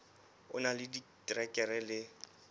o na le diterekere le